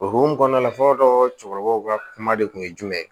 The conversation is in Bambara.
O hokumu kɔnɔna la fɔlɔ cɛkɔrɔbaw ka kuma de kun ye jumɛn ye